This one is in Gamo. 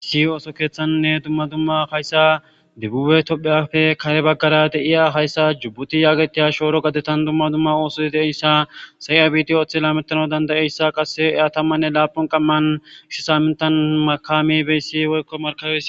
issi ooso keeththannne dumma dumma hayssa debbube topheyafe kare baggara de7iya hayssa jubbuti yaagetiya shooro gadetan dumma dumma ooso deeyssa say7a bidiyo oththila metano dandayeyssa qasse eya tammanne laapun qamman gush saamintan makami beyssi woykko markabe